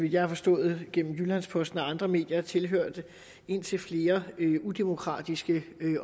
jeg har forstået gennem jyllands posten og andre medier tilhørt indtil flere udemokratiske